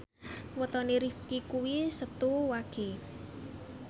wetone Rifqi kuwi Setu Wage